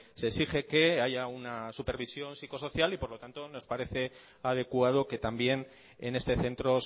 se exige que haya una supervisión psicosocial y por lo tanto nos parece adecuado que también en este centro